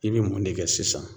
I bɛ mun de kɛ sisan?